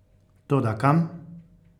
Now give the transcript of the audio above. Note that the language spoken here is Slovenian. Toda kam?